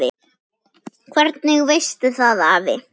Hvernig veistu það afi?